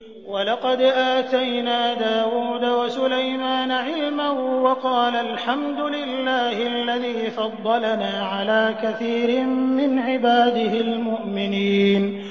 وَلَقَدْ آتَيْنَا دَاوُودَ وَسُلَيْمَانَ عِلْمًا ۖ وَقَالَا الْحَمْدُ لِلَّهِ الَّذِي فَضَّلَنَا عَلَىٰ كَثِيرٍ مِّنْ عِبَادِهِ الْمُؤْمِنِينَ